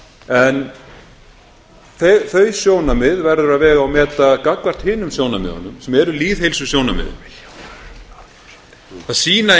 en þau sjónarmið verður að vega og meta gagnvart hinum sjónarmiðunum sem eru lýðheilsusjónarmiðin það sýna